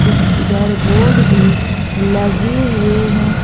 कुछ इधर बोर्ड भी लगे हुए हैं।